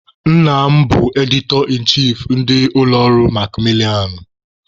Nna m bụ 'editor in chief' ndị ụlọ ọrụ makmilianụ.